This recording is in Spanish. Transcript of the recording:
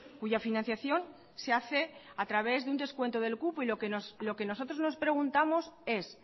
cuya financiación se hace a través de un descuento del cupo y lo que nosotros nos preguntamos es